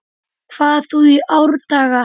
hvað þú í árdaga